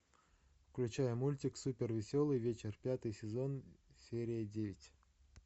включай мультик супер веселый вечер пятый сезон серия девять